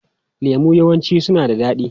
Lemu yawanci suna da daɗi.